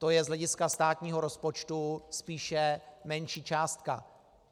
To je z hlediska státního rozpočtu spíše menší částka.